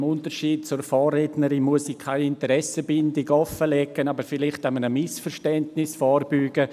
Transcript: Im Unterschied zu meiner Vorrednerin muss ich keine Interessenbindung offenlegen, aber vielleicht einem Missverständnis vorbeugen.